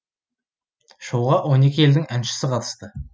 шоуға он екі елдің әншісі қатысты